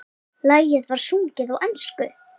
Lagið var sungið á ensku.